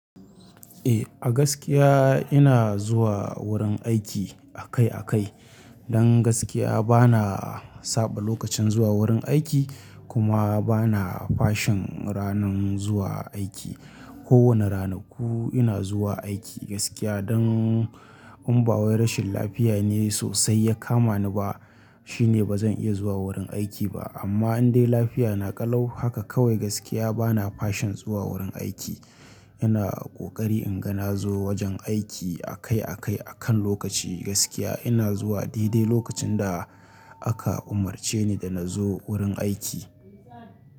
Eh, a gaskiya ina zuwa wurin aiki akai akai. Don gaskiya bana saɓa lokacin zuwa wurin aiki kuma bana fashin ranan zuwa aiki. Ko wane ranaku ina zuwa aiki gaskiya don in ba wai rashin lafiya ne sosai ya kama ni ba shine bazan iya zuwa wurin aiki ba. Amma in dai lafiya na ƙalau haka kawai gaskiya bana fashin zuwa wurin aiki. Ina ƙoƙari in ga na zo wajen aiki akai akai a kan lokaci gaskiya ina zuwa daidai lokacin da aka umarce ni da na zo wurin aiki.